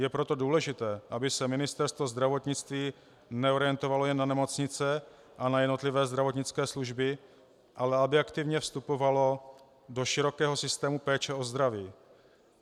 Je proto důležité, aby se Ministerstvo zdravotnictví neorientovalo jen na nemocnice a na jednotlivé zdravotnické služby, ale aby aktivně vstupovalo do širokého systému péče o zdraví.